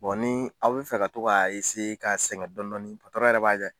ni aw bɛ fɛ ka to ka sɛgɛn dɔni dɔɔni yɛrɛ b'a kɛ